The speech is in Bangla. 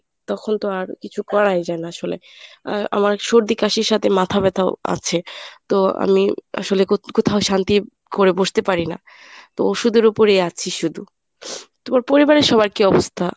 তখন তো আর কিছু করাই যায় না আসলে। আহ আমার সর্দি কাশির সাথে মাথা ব্যাথা্ও আছে। তো আমি আসলে কো~ কোথাও শান্তি করে বসতে পারি না। তো ওষুধের উপরেই আছি শুধু । তোমার পরিবারের সবার কী অবস্থা?